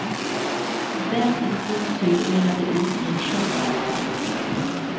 Den i sin tur mynnade ut i en skinnmarknad. punkt